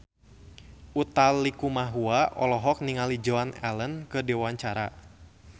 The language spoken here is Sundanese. Utha Likumahua olohok ningali Joan Allen keur diwawancara